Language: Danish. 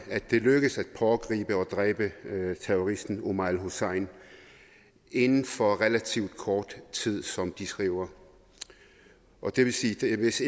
at det lykkedes at pågribe og dræbe terroristen omar el hussein inden for relativt kort tid som de skriver det vil sige at hvis